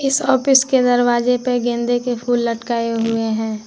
इस ऑफिस के दरवाजे पे गेंदे के फूल लटकाए हुए हैं।